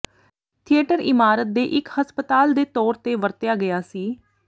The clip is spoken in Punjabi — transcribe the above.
ਥੀਏਟਰ ਇਮਾਰਤ ਦੇ ਇਕ ਹਸਪਤਾਲ ਦੇ ਤੌਰ ਤੇ ਵਰਤਿਆ ਗਿਆ ਸੀ